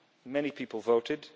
many people voted.